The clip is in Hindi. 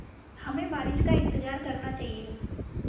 हमें बारिश का इंतज़ार करना चाहिए